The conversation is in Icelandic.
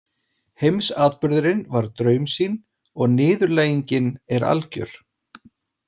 Heimsatburðurinn var draumsýn og niðurlægingin er algjör.